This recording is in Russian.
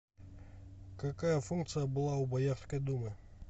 какая функция была у боярской думы